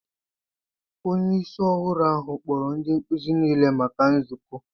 Onye isi ọhụrụ ahụ kpọrọ ndị nkuzi niile maka nzukọ.